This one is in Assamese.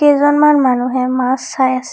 কেইজনমান মানুহে মাছ চাই আছে।